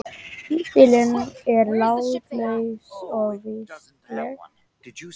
Híbýlin eru látlaus og vistleg.